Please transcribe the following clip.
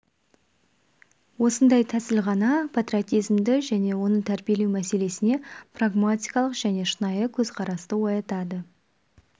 осындай тәсіл ғана патриотизмді және оны тәрбиелеу мәселесіне прагматикалық және шынайы көзқарасты оятады